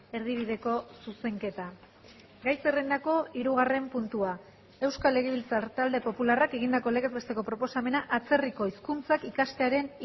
erdibideko zuzenketa gai zerrendako hirugarren puntua euskal legebiltzar talde popularrak egindako legez besteko proposamena atzerriko hizkuntzak ikastearen